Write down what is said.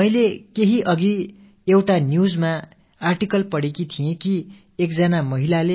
பிரதமர் அவர்களே பெங்களூரூவிலிருந்து நான் ஷில்பி வர்மா பேசுகிறேன்